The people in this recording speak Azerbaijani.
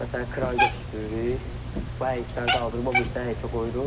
Məsələn, kranı götürdürürük, bu həyətdən qaldırıb o birisi həyətə qoyuruq.